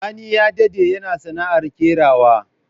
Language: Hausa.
Sani ya dade yana sana'ar kerawa.